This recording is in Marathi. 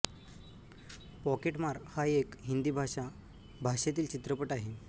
पॉकेटमार हा एक हिंदी भाषा भाषेतील चित्रपट आहे